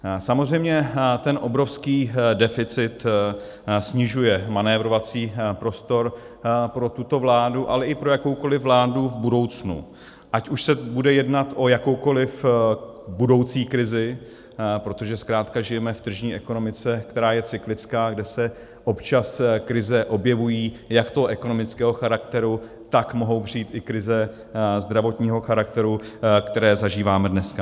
Samozřejmě ten obrovský deficit snižuje manévrovací prostor pro tuto vládu, ale i pro jakoukoliv vládu v budoucnu, ať už se bude jednat o jakoukoliv budoucí krizi, protože zkrátka žijeme v tržní ekonomice, která je cyklická, kde se občas krize objevují, jak toho ekonomického charakteru, tak mohou přijít i krize zdravotního charakteru, které zažíváme dneska.